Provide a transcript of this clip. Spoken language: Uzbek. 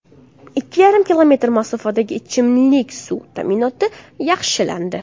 Ikki yarim kilometr masofadagi ichimlik suvi ta’minoti yaxshilandi.